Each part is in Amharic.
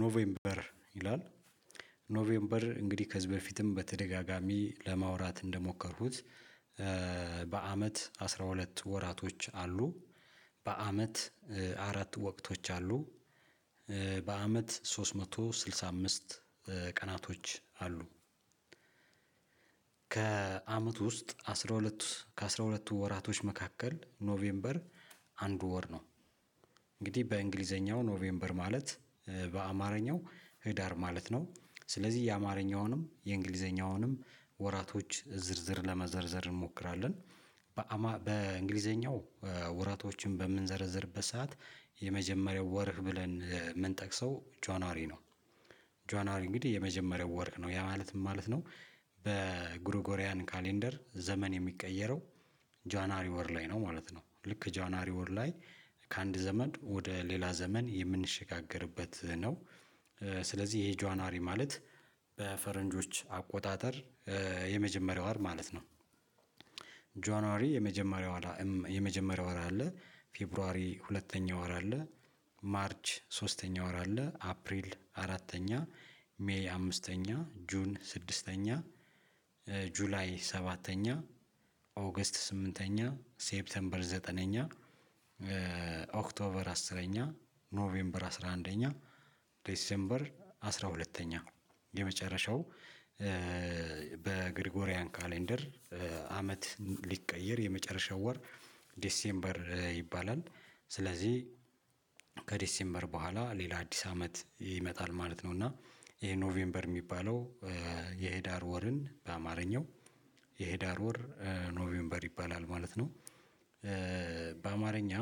ኖቬምበር ይላል ኖቬምበር እንግዲህ ከዚህ በፊትም በተደጋጋሚ ለማውራት እንደሞከርኩት። በአመት አስራ ሁለት ወራቶች አሉ። በአመት አራት ወቅቶች አሉ። በአመት ሶስት መቶ ስድሳ አምስት ቀናቶች አሉ። ከአመት ውስጥ አስራ ሁለት ከአስራ ሁለቱ ወራቶች መካከል ኖቬምበር አንድ ወር ነው። እንግዲህ በእንግሊዘኛው ኖቬምበር ማለት በአማርኛው ህዳር ማለት ነው ስለዚህ የአማርኛውንም የእንግሊዘኛውንም ወራቶች ዝርዝር ለመዘርዘር እንሞክራለን። በእንግሊዘኛው ወራቶችን በምንዘረዝርበት ሰዓት የመጀመሪያው ወርህ ብለን የምንጠቅሰው ጃኗሪ ነው። ጆናሪ እንግዲህ የመጀመሪያው ወር ነው ያ ማለትም ማለት ነው። በጉሮጎሪያን ካሌንደር ዘመን የሚቀየረው ጃኗሪ ወር ላይ ነው ማለት ነው። ልክ ጃኗሪ ወር ላይ ከአንድ ዘመን ወደ ሌላ ዘመን የምንሸጋገርበት ነው። ስለዚህ ይሄ ጃኗሪ ማለት በፈረንጆች አቆጣጠር የመጀመሪያው ወር ማለት ነው። ጆንዋሪ የመጀመሪያው ወር የመጀመሪያው ወር አለ ፌብሩዋሪ ሁለተኛ ወር አለ። ማርች ሶስተኛ ወር አለ አፕሪል አራተኛ ሜይ አምስተኛ ጁን ስድስተኛ ጁላይ ሰባተኛ ኦገስት ስምንተኛ ሴፕቴምበር ዘጠነኛ ኦክቶበር አስረኛ ኖቬምበር አስራ አንደኛ ዴሴምበር አስራ ሁለተኛ የመጨረሻው በግሪጎሪያን ካሌንደር አመት ሊቀየር የመጨረሻው ወር ዲሴምበር ይባላል። ስለዚህ ከዲሴምበር በኋላ ሌላ አዲስ አመት ይመጣል ማለት ነው። እና ይሄ ኖቬምበር የሚባለው የሄዳር ወርን በአማርኛው የሄዳር ወር ኖቬምበር ይባላል ማለት ነው። በአማርኛ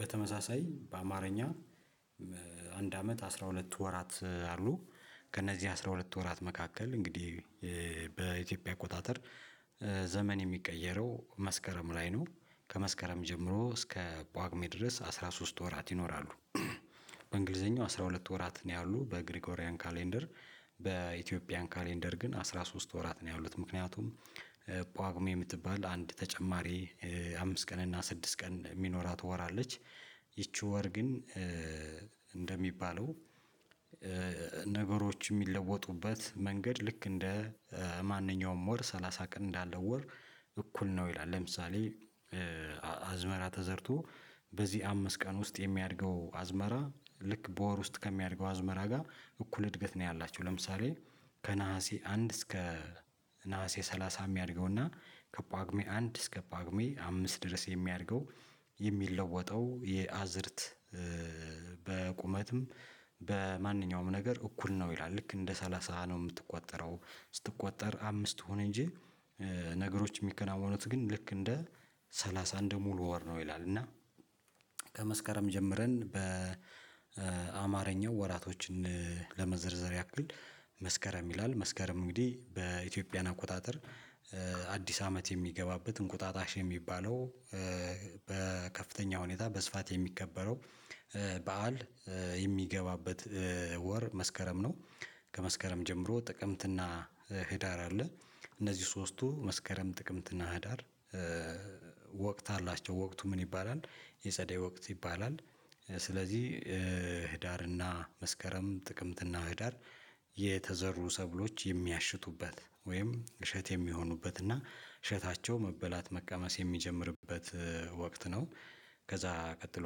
በተመሳሳይ በአማርኛ አንድ አመት አስራ ሁለት ወራት አሉ። ከእነዚህ አስራ ሁለት ወራት መካከል እንግዲህ በኢትዮጵያ አቆጣጠር ዘመን የሚቀየረው መስከረም ላይ ነው። ከመስከረም ጀምሮ እስከ ጳጉሜ ድረስ አስራ ሶስት ወራት ይኖራሉ። አስራ ሁለት ወራት ነው ያሉት በግሪጎሪያን ካሌንደር በኢትዮጵያን ካሌንደር ግን አስራ ሶስት ወራት ነው ያሉት። ምክንያቱም ጳጉሜ የምትባል አንድ ተጨማሪ አምስት ቀን እና ስድስት ቀን የሚኖራት ወር አለች። ይቺ ወር ግን እንደሚባለው ነገሮች የሚለወጡበት መንገድ ልክ እንደ ማንኛውም ወር ሰላሳ ቀን እንዳለ ወር እኩል ነው ይላል። ለምሳሌ አዝመራ ተዘርቶ በዚህ አምስት ቀን ውስጥ የሚያድገው አዝመራ ልክ በወር ውስጥ ከሚያድገው አዝመራ ጋር እኩል እድገት ነው። ያላችሁ ለምሳሌ ከነሀሴ አንድ እስከ ነሀሴ ሰላሳ የሚያድገው እና ከጳጉሜ አንድ እስከ ጳጉሜ አምስት ድረስ የሚያድገው የሚለወጠው የአዝርት በቁመትም በማንኛውም ነገር እኩል ነው ይላል። ልክ እንደ ሰላሳ ነው የምትቆጠረው ስትቆጠር አምስት ትሁን እንጂ ነገሮች የሚከናወኑት ግን ልክ እንደ ሰላሳ እንደ ሙሉ ወር ነው ይላል። እና ከመስከረም ጀምረን በአማርኛ ወራቶችን ለመዘርዘር ያክል መስከረም ይላል መስከረም እንግዲህ በኢትዮጵያ አቆጣጠር አዲስ አመት የሚገባበት እንቁጣጣሽ የሚባለው በከፍተኛ ሁኔታ በስፋት የሚከበረው በዓል የሚገባበት ወር መስከረም ነው። ከመስከረም ጀምሮ ጥቅምትና ህዳር አለ እነዚህ ሶስቱ መስከረም ጥቅምትና ህዳር። ወቅት አላቸው ወቅቱ ምን ይባላል? የጸደይ ወቅት ይባላል። ስለዚህ ህዳርና መስከረም ጥቅምትና ህዳር የተዘሩ ሰብሎች የሚያሽቱበት ወይም እሸት የሚሆኑበት እና እሸታቸው መበላት መቀመስ የሚጀምርበት ወቅት ነው። ከዛ ቀጥሎ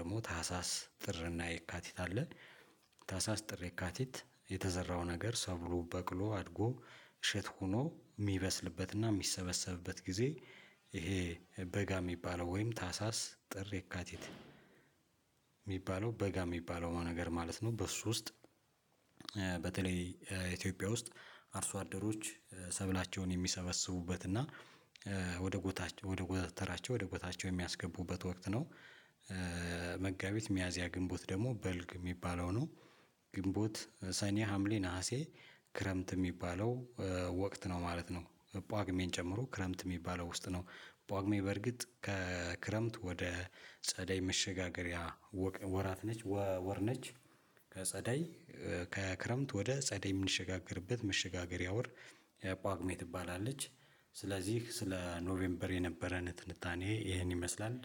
ደግሞ ታህሳስ ጥርና የካቲት አለ። ታህሳስ ጥር የካቲት የተዘራው ነገር ሰው ብሎ በቅሎ አድጎ እሸት ሆኖ የሚበስልበትና የሚሰበሰብበት ጊዜ። ይሄ በጋ የሚባለው ወይም ታህሳስ ጥር የካቲት የሚባለው በጋ የሚባለው ነገር ማለት ነው። በሱ ውስጥ በተለይ ኢትዮጵያ ውስጥ አርሶ አደሮች ሰብላቸውን የሚሰበስቡበት እና ወደ ጎታቸው ወደ ጎታቸው ወደ ጎታቸው የሚያስገቡበት ወቅት ነው። መጋቢት ሚያዝያ ግንቦት ደግሞ በልግ የሚባለው ነው። ግንቦት ሰኔ ሀምሌ ነሀሴ ክረምት የሚባለው ወቅት ነው ማለት ነው። ጳጉሜን ጨምሮ ክረምት የሚባለው ውስጥ ነው ጳጉሜ በርግጥ ከክረምት ወደ ጸደይ መሸጋገሪያ ወራት ነች ወር ነች። ከጸደይ ከክረምት ወደ ጸደይ የምንሸጋገርበት መሸጋገሪያ ወር የጳጉሜ ትባላለች። ስለዚህ ስለ ኖቬምበር የነበረን ትንታኔ ይሄን ይመስላል።